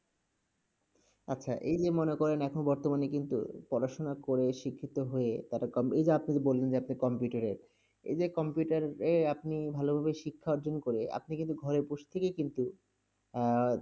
আচ্ছা এই যে মনে করেন এখন বর্তমানে কিন্তু পড়াশোনা করে, শিক্ষিত হয়ে তারা কম- এই যে আপনি বললেন যে আপনি computer -এ, এই যে computer -এ যে আপনি ভালোভাবে শিক্ষা অর্জন করে আপনি কিন্তু ঘরে বসে থেকেই কিন্তু আহ